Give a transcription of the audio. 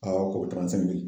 ko